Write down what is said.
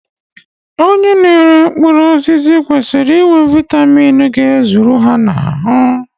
Onye na-ere mkpụrụ osisi kwesiri inwe Vaitamini ga-ezuru ha n'ahụ.